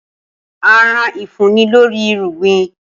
Aràn ifunni lori irugbin.